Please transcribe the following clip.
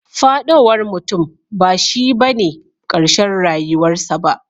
Fadowar mutum bashi bane karshen rayuwar sa ba.